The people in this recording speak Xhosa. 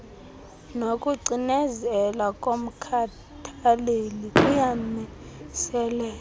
nokucinezela komkhathaleli kuyamiseleka